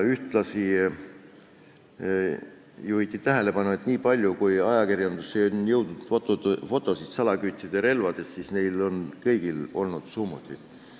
Ühtlasi juhiti tähelepanu, et niipalju kui ajakirjandusse on jõudnud fotosid salaküttide relvadest, siis neil kõigil on olnud summutid.